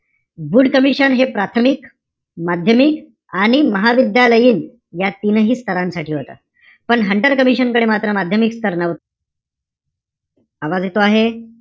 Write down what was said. Wood commission हे प्राथमिक, माध्यमिक, आणि महाविद्यालयीन या तीनही स्थरांसाठी होता. पण हंटर कमिशन कडे मात्र माध्यमिक स्तर नव्हता. आवाज येतो आहे?